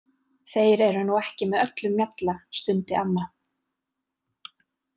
Þeir eru nú ekki með öllum mjalla stundi amma.